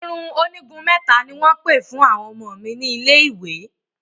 Irun onígun mẹ́ta ni wọ́n pè fún àwọn ọmọ mi ní ilé ìwé